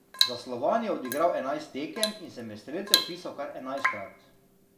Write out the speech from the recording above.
Za Slovan je odigral enajst tekem in se med strelce vpisal kar enajstkrat.